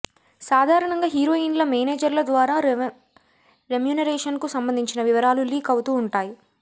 సాధారణంగా హీరోయిన్ల మేనేజర్ల ద్వారా రెమ్యూనరేషన్ కు సంబంధించిన వివరాలు లీక్ అవుతూ ఉంటాయి